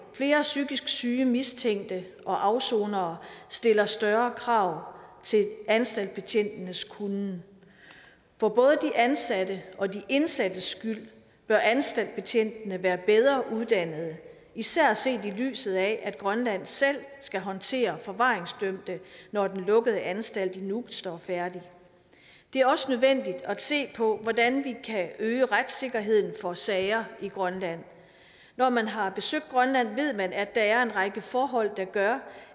flere psykisk syge mistænkte og afsonere stiller større krav til anstaltbetjentenes kunnen for både de ansattes og de indsattes skyld bør anstaltbetjentene være bedre uddannede især set i lyset af at grønland selv skal håndtere forvaringsdømte når den lukkede anstalt i nuuk står færdig det er også nødvendigt at se på hvordan vi kan øge retssikkerheden for sager i grønland når man har besøgt grønland ved man at der er en række forhold der gør